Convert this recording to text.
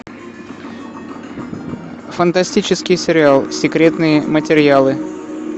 фантастический сериал секретные материалы